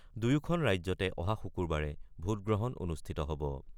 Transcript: দুয়োখন ৰাজ্যতে অহা শুকুৰবাৰে ভোটগ্ৰহণ অনুষ্ঠিত হব।